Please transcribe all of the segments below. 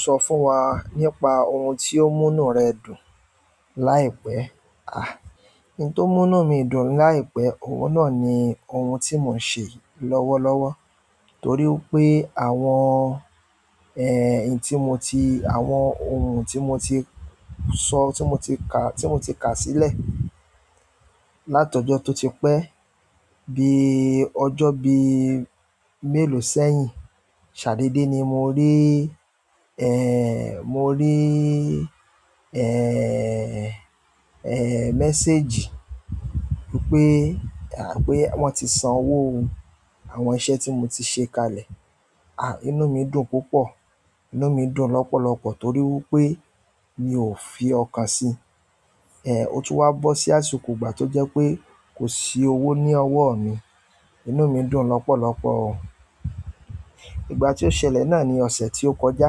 Sọ fún wa nípa ohun tí ó mú inú rẹ dùn láìpẹ́. À, ohun tó mú inú mi dùn láìpẹ́, òun náà ni ohun tí mò ń ṣe lọ́wọ́lọ́wọ́. Torí wí pé àwọn, ẹ́, èyí tí mo ti, àwọn ohun tí mo ti sọ, tí mo ti kà, tí mo ti kà sílẹ̀ látọ̀jọ́ tó ti pẹ́, bí ọjọ́ bí mélòó sẹ́yìn, ṣàdéédé ni mo rí, ẹ́, mo rí, ẹ́, ẹ́, mẹ́séjì wípé, à, pé wọ́n ti san owó ohun àwọn iṣẹ́ tí mo ti ṣe kalẹ̀. À, inú mi dùn púpọ̀. Inú mi dùn lọ́pọ̀lọpọ̀ torí wí pé mi ò fi ọkàn si. E ọ̀tún wa bo si àsìkò ìgbà to je pe ko si owo ni owo mi inú mi dùn lopolopo o. Ìgbà tí ó ṣẹlẹ̀ náà ni ọ̀sẹ̀ tí ó kọjá.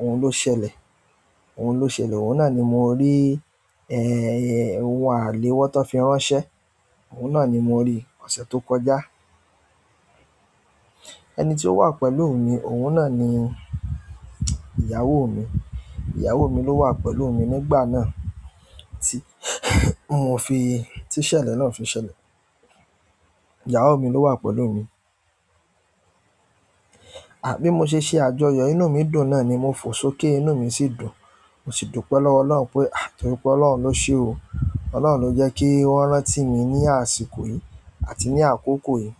Ohun ló ṣẹlẹ̀, ohun ló ṣẹlẹ̀. Òun náà ni mo rí, ẹ́, ohun àléwọ́ tó fi ránṣẹ́. Òun náà ni mo rí ọ̀sẹ̀ tó kọjá. Ẹni tí ó wà pẹ̀lú mi, òun náà ni ìyàwó mi. Ìyàwó mi ló wà pẹ̀lú mi nígbà náà. Tí mò fi, tí ìṣẹ̀lẹ̀ náà fi ṣẹlẹ̀. Ìyàwó mi ló wà pẹ̀lú mi. Àbí mo ṣe ṣé àjọyọ̀? Inú mi dùn náà ni mo fò sókè. Inú mi sì dùn. Mo sì dúpẹ́ lọ́wọ́ Ọlọ́run pé, à, torí pé Ọlọ́run ló ṣe o. Ọlọ́run ló jẹ́ kí wọ́n rán tí mi ní àsìkò yìí àti ní àkókò yìí.